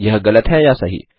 यह गलत है या सही